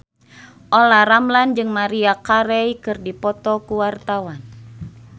Olla Ramlan jeung Maria Carey keur dipoto ku wartawan